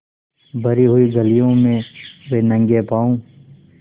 भरी हुई गलियों में वे नंगे पॉँव स्